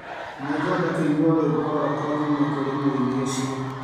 Nĩngwenda kũigua rwĩmbo rũakwa kuuma kũrĩ mũini ũcio